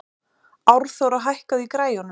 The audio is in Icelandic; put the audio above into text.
Árþóra, hækkaðu í græjunum.